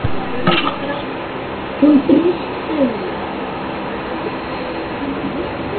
Hún brýst um.